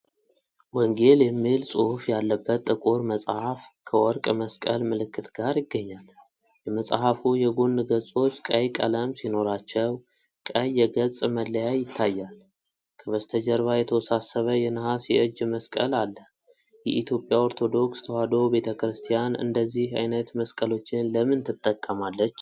ወንጌል የሚል ጽሑፍ ያለበት ጥቁር መጽሐፍ ከወርቅ መስቀል ምልክት ጋር ይገኛል። የመጽሐፉ የጎን ገጾች ቀይ ቀለም ሲኖራቸው፣ ቀይ የገጽ መለያ ይታያል። ከበስተጀርባ የተወሳሰበ የነሐስ የእጅ መስቀል አለ። የኢትዮጵያ ኦርቶዶክስ ተዋሕዶ ቤተ ክርስቲያን እንደዚህ አይነት መስቀሎችን ለምን ትጠቀማለች?